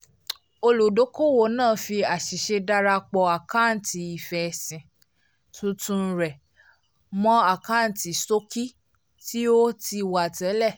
olùdókòwò náà fi àṣìṣe darapọ̀ àkántì ifẹ́sìn tuntun rẹ mọ́ àkántì ṣọ́ọ̀kì tí ó ti wà tẹ́lẹ̀